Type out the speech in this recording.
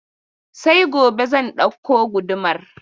Sai gobe zan ɗauko gudumar.